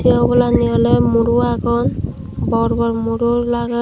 sey obolanni oley muro agon bor bor muro lager.